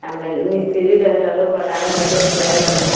एमें मिस्त्री रहेला लोग बनावेला लोग खियावेला लोग।